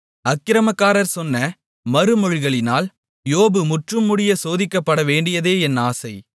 அக்கிரமக்காரர் சொன்ன மறுமொழிகளினால் யோபு முற்றும்முடிய சோதிக்கப்படவேண்டியதே என் ஆசை